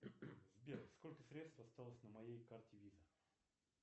сбер сколько средств осталось на моей карте виза